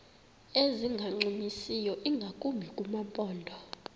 ezingancumisiyo ingakumbi kumaphondo